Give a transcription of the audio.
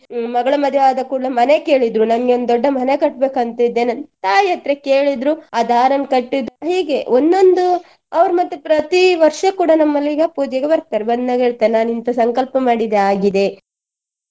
ಹ್ಮ್ ಮಗಳ ಮದ್ವೆ ಆದ ಕೂಡ್ಲೆ ಮನೆ ಕೇಳಿದ್ರು ನಂಗೆ ಒಂದು ದೊಡ್ಡ ಮನೆ ಕಟ್ಟ್ಬೇಕಂತಿದ್ದೇನೆ ತಾಯಿ ಹತ್ರ ಕೇಳಿದ್ರು ಆ ದಾರನ್ ಕಟ್ಟಿದ್ರು ಹೀಗೆ ಒಂದೊಂದು ಅವ್ರು ಮತ್ತೆ ಪ್ರತಿ ವರ್ಷ ಕೂಡಾ ನಮ್ಮಲ್ಲಿಗ ಪೂಜೆಗೆ ಬರ್ತಾರೆ ಬಂದಾಗ ಹೇಳ್ತಾರೆ ನಾನು ಇಂತ ಸಂಕಲ್ಪ ಮಾಡಿದ್ದೆ ಆಗಿದೆ.